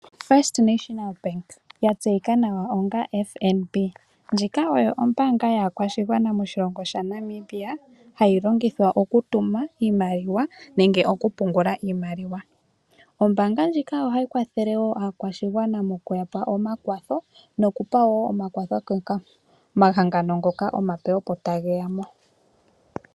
First National Bank yatseyika nawa onga FNB ndjika oyo ombanga yaakwashigwana moshilongo shaNamibia hayi longithwa okutuma iimaliwa nenge oku pungula iimaliwa. Ombanga ndjika oha yi kwathele wo aakwashigwana mokuya pa omakwatho noku pa wo omakwatho omahangano ngoka omape opo ta geya mo.